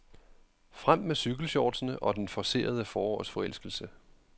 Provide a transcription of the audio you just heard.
Frem med cykelshortsene og den forcerede forårsforelskelse.